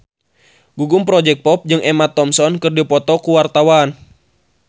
Gugum Project Pop jeung Emma Thompson keur dipoto ku wartawan